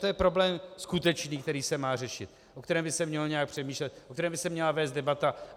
To je problém skutečný, který se má řešit, o kterém by se mělo nějak přemýšlet, o kterém by se měla vést debata.